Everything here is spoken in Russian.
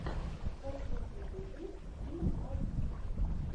последний выпуск дима масленников